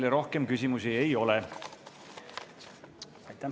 Teile rohkem küsimusi ei ole.